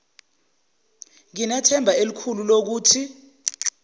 nginethemba elikhulu lokuthi